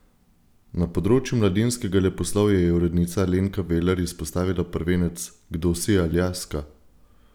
Na področju mladinskega leposlovja je urednica Alenka Veler izpostavila prvenec Kdo si, Aljaska?